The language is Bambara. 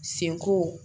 Sen ko